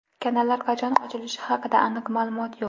Kanallar qachon ochilishi haqida aniq ma’lumot yo‘q.